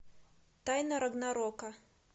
тайна рагнарока